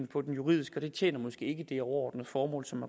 på den juridiske og det tjener måske ikke det overordnede formål som